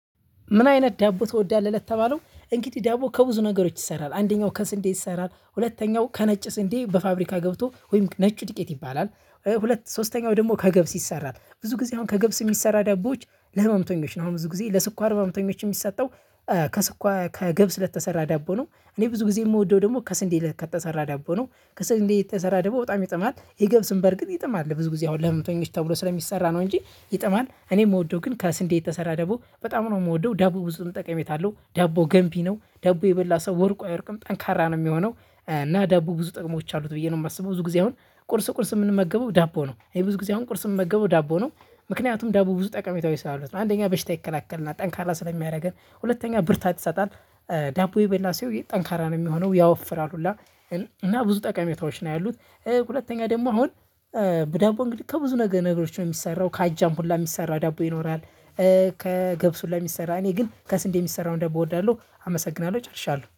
ምን አይነት ዳቦ ትወዳለህ ለተባለው? እንግዲህ ዳቦ ከብዙ ነገሮች ይሰራል። አንደኛው ከስንዴ ይሰራል ሁለተኛው ከነጭ ስንዴ በፋብሪካ ገብቶ ወይም ነጭ ድቄት ይባላል። ሁለት ሶስተኛው ደግሞ ከገብስ ይሰራል። ብዙ ጊዜ አሁን ከገብስ የሚሰራ ዳቦች ለህመምተኞች ነው። አሁን ብዙ ጊዜ ለስኳር ህመምተኞች የሚሰጠው ከስኳር ከገብስ ለተሰራ ዳቦ ነው። እኔ ብዙ ጊዜ የምወደው ደግሞ ከስንዴ ከየተሰራ ዳቦ ነው። ከስንዴ የተሰራ ደግሞ በጣም ይጥማል። የገብስም በርግጥ ይጥማል። ብዙ ጊዜ አሁን ለህመምተኞች ተብሎ ስለሚሰራ ነው እንጂ ይጥማል። እኔ የምወደው ግን ከስንዴ የተሰራ ዳቦ በጣም ነው። የምወደው ዳቦ ብዙ ጠቀሜታ አለው። ዳቦ ገንቢ ነው ዳቦ የበላ ሰው ወድቆ አይወድቅም ጠንካራ ነው የሚሆነው እና ዳቦ ብዙ ጥቅሞች አሉት ብዬ ነው የማስበው ብዙ ጊዜ አሁን ቁርስ ቁርስ የምንመገበው ዳቦ ነው እኔ ብዙ ጊዜ አሁን ቁርስ የምንመገበው ዳቦ ነው ምክንያቱም ዳቦ ብዙ ጠቀሜታዎች ስላሉት አንደኛ በሽታ ይከላከል እና ጠንካራ ስለሚያደርገን ሁለተኛ ብርታት ይሰጣል ዳቦ የበላ ሰው ጠንካራ ነው የሚሆነው ያወፍራልኈላ እና ብዙ ጠቀሜታዎች ነው ያሉት ሁለተኛ ደግሞ አሁን በዳቦ እንግዲህ ከብዙ ነገሮች ነው የሚሰራው ከአጃም ሁላ የሚሰራ ዳቦ ይኖራል ከገብስ ሁላ የሚሰራ እኔ ግን ከስንዴ የሚሰራውን ዳቦ እወዳለሁ አመሰግናለሁ